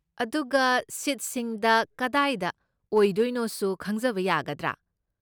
ꯑꯗꯨꯒ, ꯁꯤꯠꯁꯤꯡꯗ ꯀꯗꯥꯏꯗ ꯑꯣꯏꯗꯣꯏꯅꯣꯁꯨ ꯈꯪꯖꯕ ꯌꯥꯒꯗ꯭ꯔꯥ?